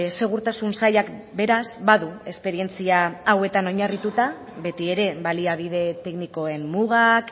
segurtasun sailak beraz badu esperientzia hauetan oinarrituta beti ere baliabide teknikoen mugak